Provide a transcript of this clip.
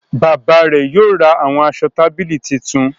Bayba rẹ yóò rà awọn aṣọ tábìlì tuntun.